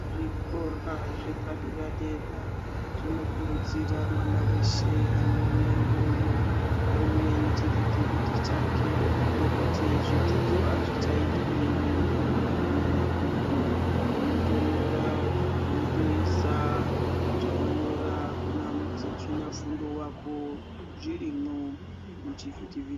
Zvikora zvepadera dera zvinokurudzirwa mwana weshe anouya iyoyo auye nechivhiti vhiti chake nekuti zvidzidzo azvichaitwi weinyora mumabhuku , unotonyora wotoisa zvawanyora Kuna muzvina fundo wako zvirimwo muchivhiti vhiti.